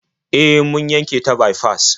E, mun yanke ta baifas.